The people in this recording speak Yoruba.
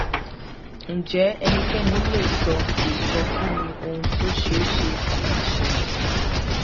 ǹjẹ ẹnikẹni lè sọ lè sọ fún mi ohun tó ṣe é ṣe kó máa ṣẹlẹ